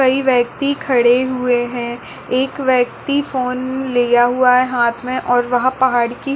कई व्यक्ति खड़े हुए है एक व्यक्ति फोन लिया हुआ है हाथ में और वहाँ पहाड़ी की --